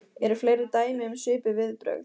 En eru fleiri dæmi um svipuð viðbrögð?